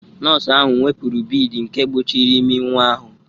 Nọọsụ ahụ wepụrụ bead nke gbochiri imi nwa ahụ